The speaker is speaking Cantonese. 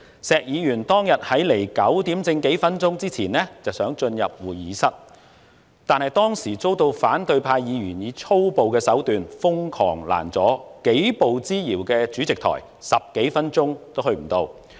石議員當天在9時之前幾分鐘想進入會議室，但遭到反對派議員以粗暴手段瘋狂攔阻，幾步之遙的主席台，他10多分鐘也未能到達。